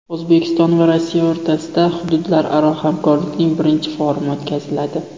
O‘zbekiston va Rossiya o‘rtasida hududlararo hamkorlikning birinchi forumi o‘tkaziladi.